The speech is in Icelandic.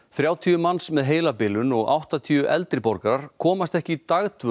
þrjátíu manns með heilabilun og áttatíu eldri borgarar komast ekki í dagdvöl